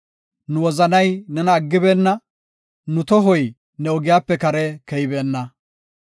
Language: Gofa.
Nu wozanay nena aggibeenna; nu tohoy ne ogiyape kare keybeenna.